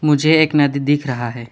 मुझे एक नदी दिख रहा है।